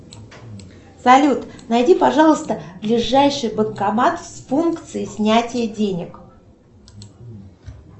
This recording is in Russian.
салют найди пожалуйста ближайший банкомат с функцией снятия денег